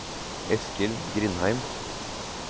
Eskil Grindheim